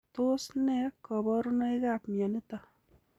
Tos nee koborunoikab mioniton?